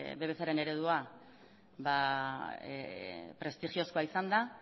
eredua prestigiozkoa izan da